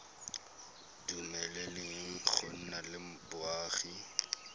dumeleleng go nna le boagi